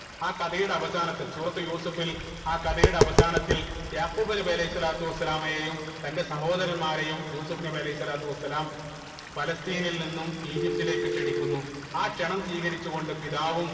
ആ കഥയുടെ അവസാനത്തിൽ സൂറത്തുൽ യൂസഫിൽ ആ കഥയുടെ അവസാനത്തിൽ യാഖൂബ് നബി അലൈഹി സ്വലാത്തു വസ്സലാമയെയും തന്റെ സഹോദരന്മാരെയും യൂസഫ് നബി അലൈഹി സ്വലാത്തു വസ്സലാം ഫലസ്‌തീനിൽ നിന്നും ഈജിപ്തിലേക്ക് ക്ഷണിക്കുന്നു ആ ക്ഷണം സ്വീകരിച്ച് കൊണ്ട് പിതാവും